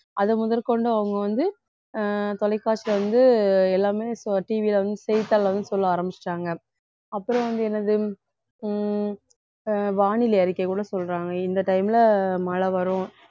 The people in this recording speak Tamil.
அது முதற்கொண்டு அவங்க வந்து அஹ் தொலைக்காட்சி வந்து எல்லாமே TV ல வந்து செய்தித்தாள்ல வந்து சொல்ல ஆரம்பிச்சுட்டாங்க அப்புறம் வந்து என்னது உம் அஹ் வானிலை அறிக்கை கூட சொல்றாங்க இந்த time ல மழை வரும்